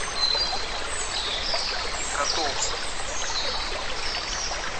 котовске